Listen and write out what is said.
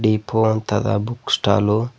hippo ಅಂತದ book stall --